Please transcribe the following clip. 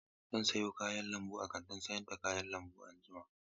Zan sayo kayan lambu a kantin sayar da kayan lambu anjima.